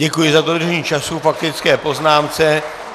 Děkuji za dodržení času k faktické poznámce.